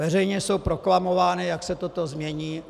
Veřejně jsou proklamovány, jak se toto změní.